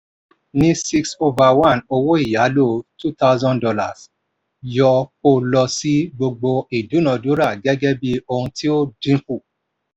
ní six over one owó ìyálò two thousand dollars yọ kó lọ sí gbogbo ìdúnadúrà gẹ́gẹ́ bí ohun tí ó dínkù.